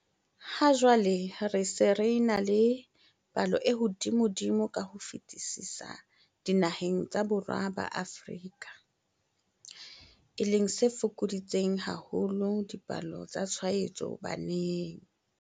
Ha jwale re se re ena le palo e hodimodimo ka ho fetisisa dinaheng tsa Borwa ba Afrika, e leng se fokoditseng haholo dipalo tsa tshwaetso baneng.